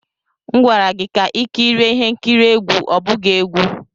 M gwara gị ka i kirie ihe nkiri egwu, ọ bụghị egwu!